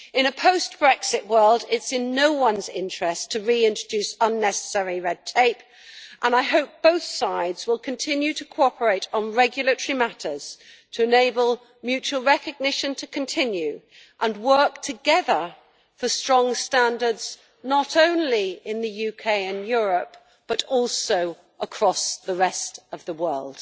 In a post Brexit world it is in no one's interest to re introduce unnecessary red tape and I hope both sides will continue to cooperate on regulatory matters to enable mutual recognition to continue and work together for strong standards not only in the UK and Europe, but also across the rest of the world.